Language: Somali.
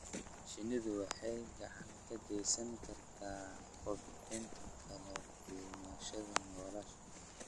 Shinnidu waxay gacan ka geysan kartaa kobcinta kala duwanaanshaha noolaha.